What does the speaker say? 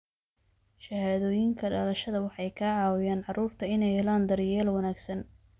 Shahaadooyinka dhalashada waxay ka caawiyaan carruurta inay helaan daryeel wanaagsan.